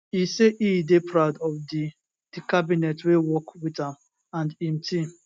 e say e dey proud of di di cabinet wey work wit am and im team